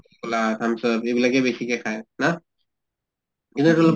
coca, thumbs up এইবিলাকে বেছিকে খায় না? এইতোটো অলপ